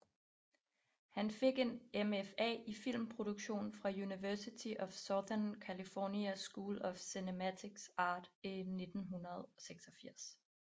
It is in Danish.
Han fik en MFA i filmproduktion fra University of Southern California School of Cinematic Arts i 1986